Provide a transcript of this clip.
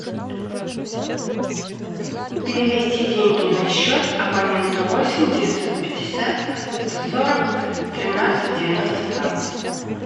перевести деньги на счет абоненту восемь девятьсот пятьдесят сто сорок тринадцать девяносто два